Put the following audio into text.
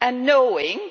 Knowing